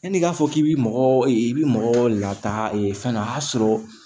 Yanni i k'a fɔ k'i bɛ mɔgɔ i bɛ mɔgɔ lataa fɛn dɔ a y'a sɔrɔ